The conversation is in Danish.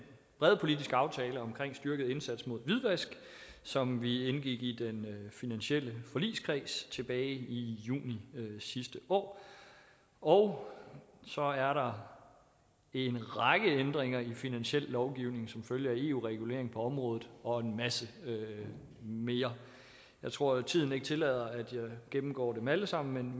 brede politiske aftale om en styrket indsats mod hvidvask som vi indgik i den finansielle forligskreds tilbage i juni sidste år og så er der en række ændringer i den finansielle lovgivning som følge af eu regulering på området og en masse mere jeg tror ikke tiden tillader at jeg gennemgår dem alle sammen